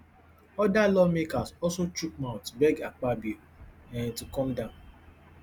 oda lawmakers also chook mouth beg akpabio um to calm down